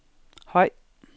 høj